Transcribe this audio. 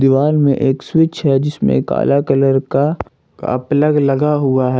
वाल में एक स्विच है जिसमें काला कलर का का प्लग लगा हुआ है।